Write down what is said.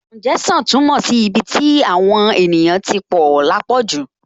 Kàúnjẹ́ṣàn túmọ̀ sí ibi tí àwọn èèyàn tí pọ̀ lápọ̀jù